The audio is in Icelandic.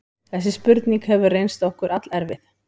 Þessi spurning hefur reynst okkur allerfið.